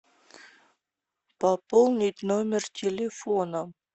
пополнить номер телефона